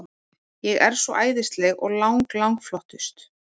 Ég er svo æðisleg og lang, lang flottust.